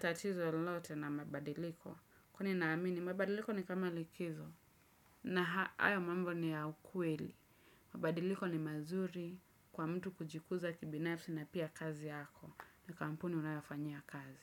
tatizo lolote na mabadiliko. Kwani naamini mabadiliko ni kama likizo na hayo mambo ni ya ukweli. Mabadiliko ni mazuri kwa mtu kujikuza kibinafsi na pia kazi yako. Na kampuni unayofanyia kazi.